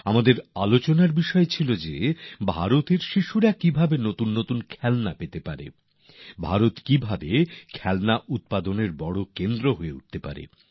আমরা মাথা ঘামিয়েছি শিশুদের জন্য নতুন নতুন খেলনা কী করে পাওয়া যেতে পারে ভারত কিভাবে খেলনা উৎপাদনের ক্ষেত্রে অনেক বড় হাব হয়ে উঠতে পারে